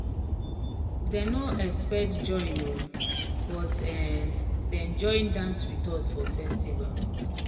dem no expect join um but um dem join dance with us for festival."